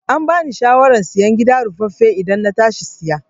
Ambani shawaran sayen gida ruffafe idan na tashi saya